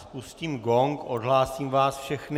Spustím gong, odhlásím vás všechny.